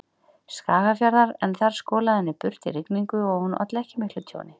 Skagafjarðar en þar skolaði henni burt í rigningum og hún olli ekki miklu tjóni.